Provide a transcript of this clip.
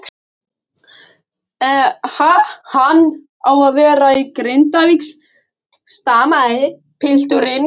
En ha-hann á að vera í Grindavík, stamaði pilturinn.